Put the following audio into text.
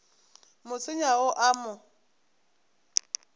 mo senya o a mo